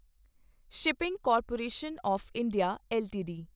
shipping corporation of India LTD